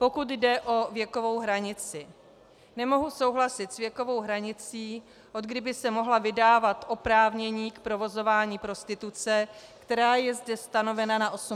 Pokud jde o věkovou hranici, nemohu souhlasit s věkovou hranicí, odkdy by se mohla vydávat oprávnění k provozování prostituce, která je zde stanovena na 18 let.